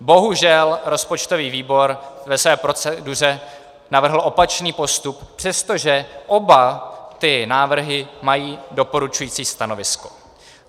Bohužel rozpočtový výbor ve své proceduře navrhl opačný postup, přestože oba ty návrhy mají doporučující stanovisko.